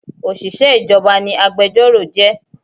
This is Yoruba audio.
Òṣìṣẹ́ ìjọba ni agbẹjọ́rò jẹ́